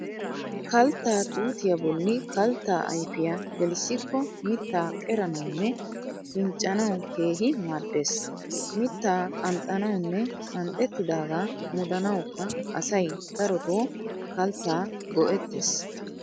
Kalttaa tuutiyaa bolli kalttaa ayfiya gelisikko mittaa qeranawunne pinccanawu keehi maaddees . Mittaa qanxxanawunne qanxxetidaagaa mudanawukka asay daroto kalttaa go'ettees.